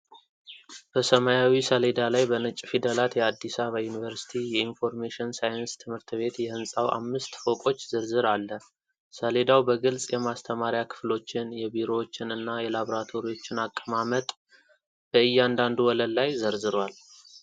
በሰማያዊ ሰሌዳ ላይ በነጭ ፊደላት የአዲስ አበባ ዩኒቨርሲቲ የኢንፎርሜሽን ሳይንስ ትምህርት ቤት የህንፃው አምስት ፎቆች ዝርዝር አለ። ሰሌዳው በግልጽ የማስተማሪያ ክፍሎችን፣ የቢሮዎችን እና የላቦራቶሪዎችን አቀማመጥ በእያንዳንዱ ወለል ላይ ይዘረዝራል።